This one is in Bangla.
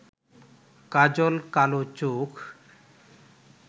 কাজল কালো চোখ